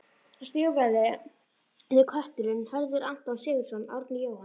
Stígvélaði kötturinn: Hörður, Anton Sigurðsson, Árni, Jóhann